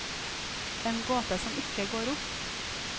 En gåte som ikke går opp.